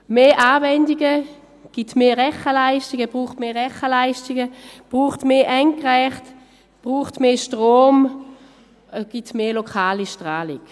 Mehr Anwendungen brauchen mehr Rechenleistungen, mehr Endgeräte, mehr Strom und geben mehr lokale Strahlung.